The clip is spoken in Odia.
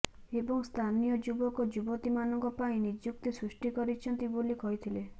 ଏବଂ ସ୍ଥାନୀୟ ଯୁବକ ଯୁବତୀ ମାନଙ୍କ ପାଇଁ ନିଯୁକ୍ତି ସୃଷ୍ଟି କରିଛନ୍ତି ବୋଲି କହିଥିଲେ